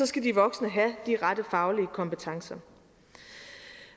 skal de voksne have de rette faglige kompetencer